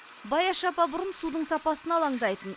баяш апа бұрын судың сапасына алаңдайтын